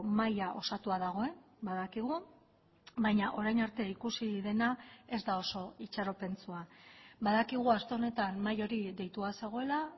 mahaia osatua dagoen badakigu baina orain arte ikusi dena ez da oso itxaropentsua badakigu aste honetan mahai hori deitua zegoela